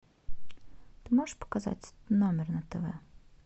ты можешь показать номер на тв